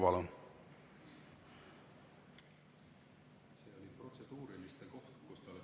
Palun!